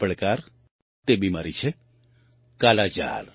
તે પડકાર તે બીમારી છે કાલાજાર